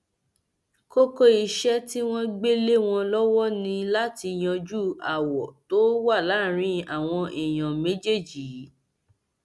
kókó iṣẹ tí wọn gbé lé wọn lọwọ ni láti yanjú aáwọ tó wà láàrin àwọn èèyàn méjèèjì yìí